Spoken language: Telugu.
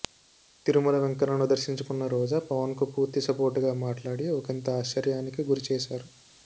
తిరుమల వెంకన్నను దర్శించుకున్న రోజా పవన్ కు పూర్తి సపోర్టుగా మాట్లాడి ఒకింత ఆశ్చర్యానికి గురి చేశారు